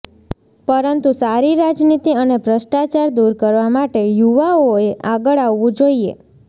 પરંતુ સારી રાજનીતિ અને ભ્રષ્ટાચાર દૂર કરવા માટે યુવાઓએ આગળ આવવુ જોઈએ